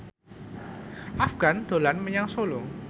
Afgan dolan menyang Solo